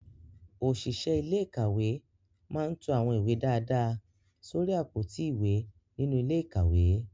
Òṣìṣẹ́ ilé ìkàwé máa ń to àwọn ìwé dáadáa sórí àpótí ìwé nínú ilé ìkàwé